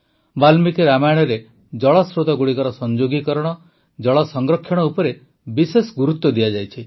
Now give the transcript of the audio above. ବାଲ୍ମିକୀ ରାମାୟଣରେ ଜଳ ସ୍ରୋତଗୁଡ଼ିକର ସଂଯୋଗୀକରଣ ଜଳ ସଂରକ୍ଷଣ ଉପରେ ବିଶେଷ ଗୁରୁତ୍ୱ ଦିଆଯାଇଛି